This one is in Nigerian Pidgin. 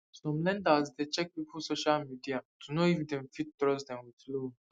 some lenders dey check people social media to know if dem fit trust dem with loan